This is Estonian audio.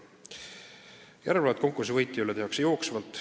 Järelevalvet konkursi võitja üle tehakse jooksvalt.